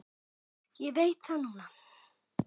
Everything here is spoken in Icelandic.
Ég veit það núna.